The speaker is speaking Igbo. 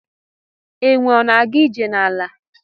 Enwe ọna aga ije na ala?